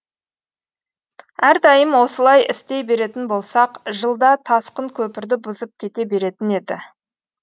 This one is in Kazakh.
әрдайым осылай істей беретін болсақ жылда тасқын көпірді бұзып кете беретін еді